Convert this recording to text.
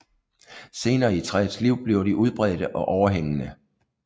Senere i træets liv bliver de udbredte og overhængende